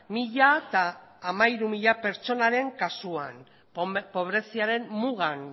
mila hamairu pertsonaren kasuan pobreziaren mugan